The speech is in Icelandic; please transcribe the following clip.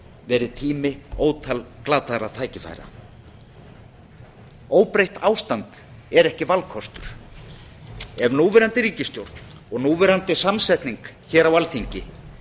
verið tími ótal glataðra tækifæra óbreytt ástand er ekki valkostur ef núverandi ríkisstjórn og núverandi samsetning á alþingi